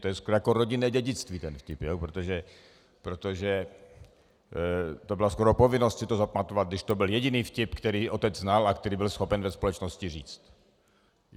To je skoro jako rodinné dědictví, ten vtip, protože to byla skoro povinnost si to zapamatovat, když to byl jediný vtip, který otec znal a který byl schopen ve společnosti říct.